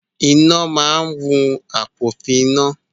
Iná máa wun àfòpiná.